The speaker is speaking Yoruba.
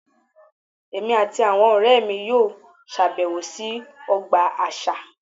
Èmi àti àwọn ọ̀rẹ́ mi yóò ṣèbẹ̀wò sí ọgbà àṣà